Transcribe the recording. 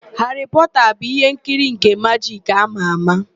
Haarị Pọọta bụ ihe nkiri nke majik ámà ámà.